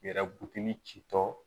Yɛrɛ butigi ci tɔ